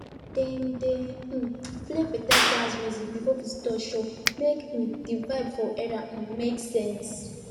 dem dey um play beta jazz music before visitors show make um the vibe for area um make sense